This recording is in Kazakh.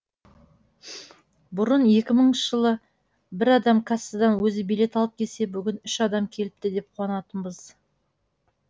бұрын екі мыңыншы жылы бір адам кассадан өзі билет алып келсе бүгін үш адам келіпті деп қуанатынбыз